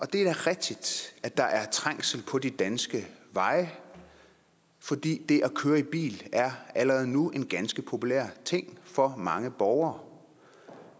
det er da rigtigt at der er trængsel på de danske veje fordi det at køre i bil allerede nu er en ganske populær ting for mange borgere